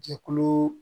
Jɛkulu